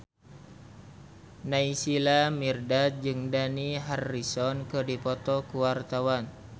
Naysila Mirdad jeung Dani Harrison keur dipoto ku wartawan